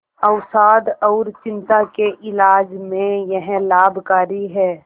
अवसाद और चिंता के इलाज में यह लाभकारी है